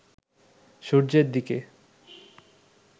সূর্যের দিকে